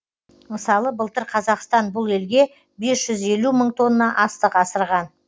мысалы былтыр қазақстан бұл елге бес жүз елу мың тонна астық асырған